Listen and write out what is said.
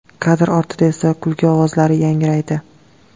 Kadr ortida esa kulgi ovozlari yangraydi.